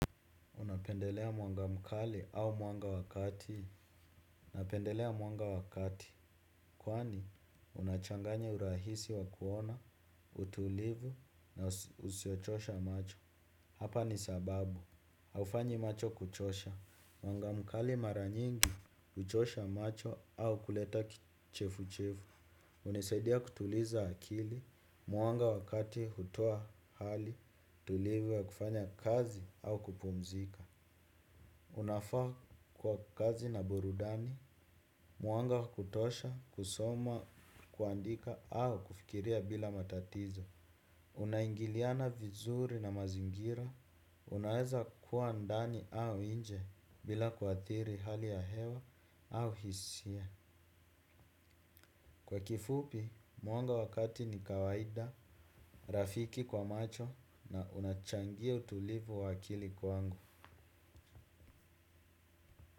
Unapendelea mwanga mkali au mwanga wakati. Napendelea mwanga wakati. Kwani unachanganye urahisi wakuona, utulivu na usiochosha macho. Hapa ni sababu. Haufanyi macho kuchosha. Mwanga mkali maranyingi, uchosha macho au kuleta kichefuchevu. Unisaidia kutuliza akili, mwanga wakati hutoa hali, tulivu wa kufanya kazi au kupumzika. Unafaa kwa kazi na burudani, muanga kutosha, kusoma, kuandika au kufikiria bila matatizo. Unaingiliana vizuri na mazingira, unaeza kuandani au inje bila kwa thiri hali ya hewa au hisia. Kwa kifupi, muanga wakati ni kawaida, rafiki kwa macho na unachangia utulivu wakili kwangu.